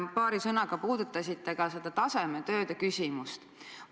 Paari sõnaga puudutasite ka tasemetööde küsimust.